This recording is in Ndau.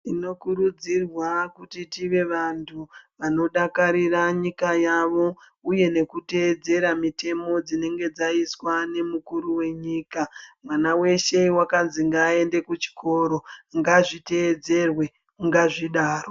Tinokurudzirwa kuti tive vanhu vanodakarira nyika yavo uye nekuteedzera mitemo dzinenge dzaiswa nemukuru wenyika mwana weshe wakazwi ngaende kuchikoro ngazviteedzerwe ngazvidaro.